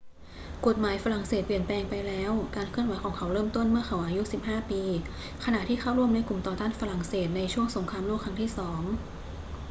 กฎหมายฝรั่งเศสเปลี่ยนแปลงไปแล้ว การเคลื่อนไหวของเขาเริ่มต้นเมื่อเขาอายุ 15 ปี ขณะที่เข้าร่วมในกลุ่มต่อต้านฝรั่งเศสในช่วงสงครามโลกครั้งที่สอง